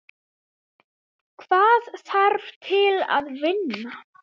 Hvað þarf til að vinna?